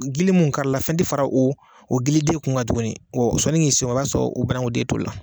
Gili mun kari la fɛn te fara o o giliden kun ka tuguni wɔ sɔni k'i s'o ma i b'a sɔrɔ o bananku den tolila